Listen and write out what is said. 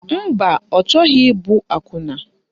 Mba, ọ chọghị ịbụ akwụna